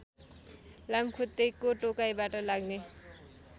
लामखुट्टेको टोकाइबाट लाग्ने